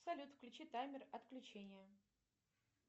салют включи таймер отключения